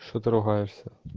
что ты ругаешься